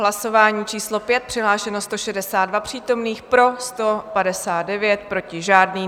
Hlasování číslo 5, přihlášeno 162 přítomných, pro 159, proti žádný.